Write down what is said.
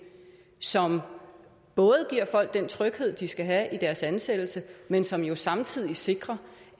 som både giver folk den tryghed de skal have i deres ansættelse men som jo samtidig sikrer